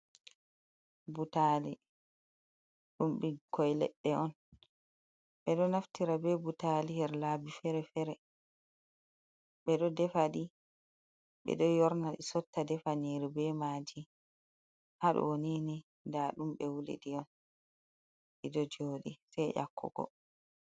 Butaali, ɗum ɓikkoi leɗɗe on, ɓe ɗo naftira be butaali her laabi fere-fere, ɓe ɗo defa ɗi, ɓe ɗo yorna ɗi sotta, defa nyiiri be maaji, ha ɗoo nii ni, nda ɗum ɓe wuli ɗi on, ɗi ɗo jooɗi sei dyakkugo.